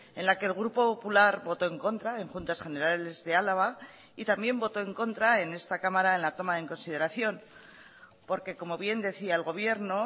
en la que el grupo popular votó en contra en juntas generales de álava y también votó en contra en esta cámara en la toma en consideración porque como bien decía el gobierno